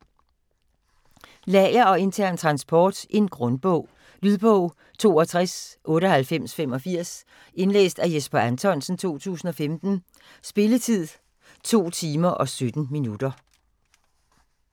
Lager og intern transport Grundbog. Lydbog 629885 Indlæst af Jesper Anthonsen, 2015. Spilletid: 2 timer, 17 minutter.